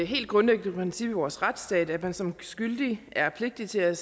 helt grundlæggende princip i vores retsstat at man som skyldig er pligtig til at